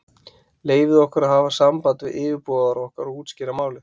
Leyfið okkur að hafa samband við yfirboðara okkar og útskýra málið.